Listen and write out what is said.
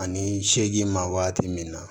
Ani seegin ma waati min na